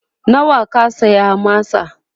nawa ka saya masa?